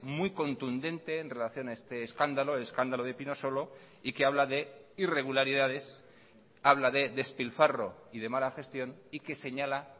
muy contundente en relación a este escándalo escándalo de pinosolo y que habla de irregularidades habla de despilfarro y de mala gestión y que señala